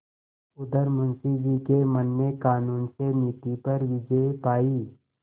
उधर मुंशी जी के मन ने कानून से नीति पर विजय पायी